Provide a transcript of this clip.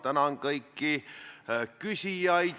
Ma tänan kõiki küsijaid!